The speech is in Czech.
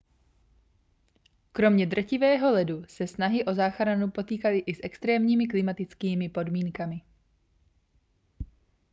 kromě drtivého ledu se snahy o záchranu potýkaly i s extrémními klimatickými podmínkami